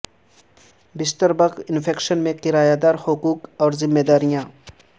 بستر bug infection میں کرایہ دار حقوق اور ذمہ داریاں